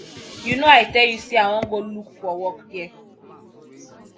you know i tell you say i wan go look for work dere